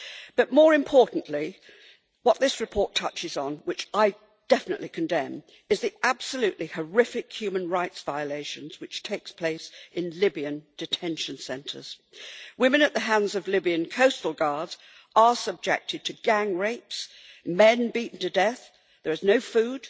But more importantly, what this report touches on which I definitely condemn is the absolutely horrific human rights violations which take place in Libyan detention centres. Women at the hands of Libyan coastal guards are subjected to gang rapes, men are beaten to death, there is no food,